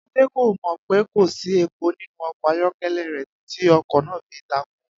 Adé kò mò̩ pé kò sí epo nínú o̩kò̩ ayó̩ké̩lé̩ rè̩ títí o̩kò̩ náà fi takú